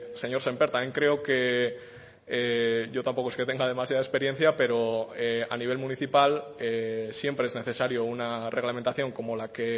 señor sémper también creo que yo tampoco es que tenga demasiada experiencia pero a nivel municipal siempre es necesario una reglamentación como la que